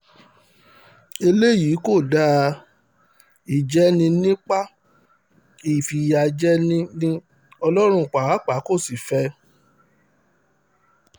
eléyìí kò dáa ìjẹni-nípa ní ìfìyàjẹni ni ọlọ́run pàápàá kò sì fẹ́ ẹ